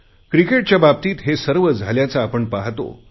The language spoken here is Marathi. क्रिकेटच्या बाबतीत हे सर्व झाल्याचे आपण पाहतो